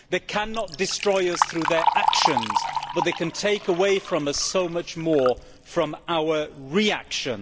They cannot destroy us through their actions, but they can take away so much more from us through our reactions.